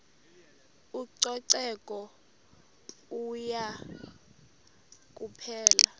ucoceko yenye kuphela